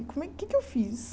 Como é o que é que eu fiz?